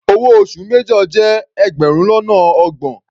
Owó oṣù major jẹ́ ẹgbẹrun lọ́nà ọgbọ̀n.